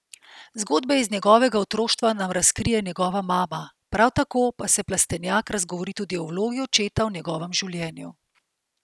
Zgodbe iz njegovega otroštva nam razkrije njegova mama, prav tako pa se Plestenjak razgovori tudi o vlogi očeta v njegovem življenju.